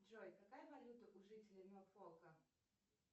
джой какая валюта у жителей норфолка